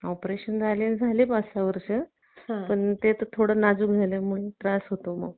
Operation झालेला झालं पाच सहा वर्ष पण त्यात थोडं नाजूक झाल्यामुळे थोडा त्रास होतो मग